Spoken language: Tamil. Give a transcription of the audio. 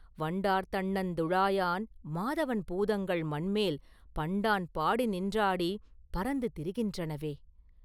வண்டார் தண்ணந் துழாயான் மாதவன் பூதங்கள் மண்மேல் பண்டான் பாடி நின்றாடிப் பரந்து திரிகின்றனவே!